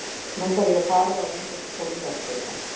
Nú þarf ég að fara og reyndu ekki að koma í veg fyrir það.